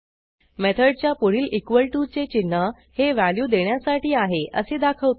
मेथडच्या पुढील equal to चे चिन्ह हे व्हॅल्यू देण्यासाठी आहे असे दाखवते